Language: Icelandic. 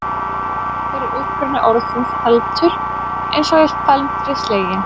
Hver er uppruni orðsins felmtur eins og í felmtri sleginn?